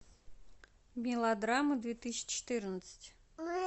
мелодрама две тысячи четырнадцать